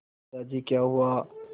दादाजी क्या हुआ